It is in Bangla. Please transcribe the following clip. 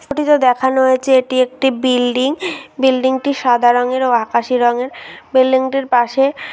ছবিটিতে দেখানো হয়েছে এটি একটি বিল্ডিং । বিল্ডিংটি সাদা রংয়ের ও আকাশি রংয়ের বিল্ডিংটির পাশে--